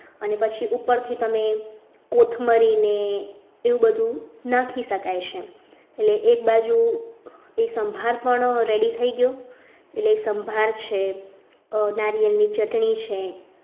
અને પછી ઉપરથી તમે કોથમરીને એવું બધું નાખી શકાય છે એટલે એક બાજુ એ સંભાળ પણ ready થઈ ગયો એટલે એ સંભાર છે નારિયેળની ચટણી છે છે અને એની અંદરની ભાજી એટલે આ બધું